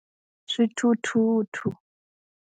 Swithuthuthu.